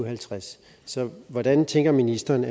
halvtreds så hvordan tænker ministeren